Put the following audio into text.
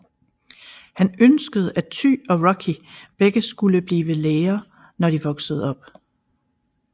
Han ønskede at Ty og Rocky begge skulle blive læger når de voksede op